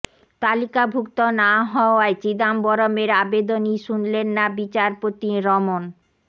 তালিকাভুক্ত না হওয়ায় চিদাম্বরমের আবেদনই শুনলেন না বিচারপতি রমন